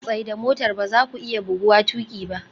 Tsaida motar! ba za ku iya buguwa tuƙi ba